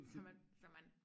Så man så man